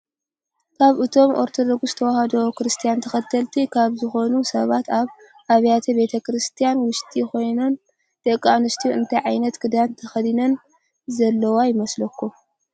ካብ እቶም ኦርቶዶክስ ተዋህዶ ክርስትና ተከተሊት ካብ ዝኮኑ ሰባት ኣብ ኣብያተ ቤተ ክርስትያን ውሽጢ ኮይናነ ደቂ ኣንስትዮ እንታይ ዓይነት ክዳን ተከዲነን ዘለዋ ይመስለኩም?